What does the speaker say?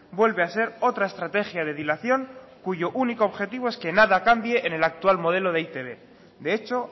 vuelve a ser otra estrategia de dilación cuyo único objetivo es que nada cambie en el actual modelo de e i te be de hecho